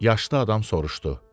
Yaşlı adam soruşdu.